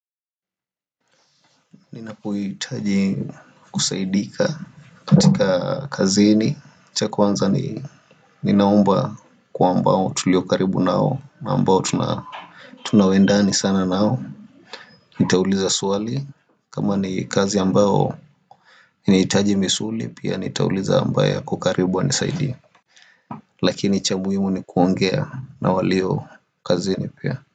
Ninapohitaji kusaidika katika kazini cha kwanza ninaomba kwa ambao tulio karibu nao na ambao tunawendani sana nao Nitauliza swali kama ni kazi ambao inahitaji misuli Pia nitauliza ambaye ako karibu anisaidie Lakini cha muhimu ni kuongea na walio kazini pia.